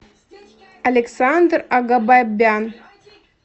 александр агабабян